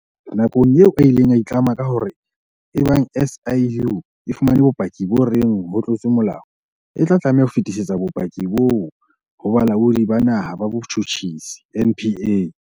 Nakong eo o ile a itlama ka hore eba ng SIU e fumana bopaki bo reng ho tlotswe molao, e tla tlameha ho fetisetsa bopaki boo ho Bolaodi ba Naha ba Botjhutjhisi, NPA.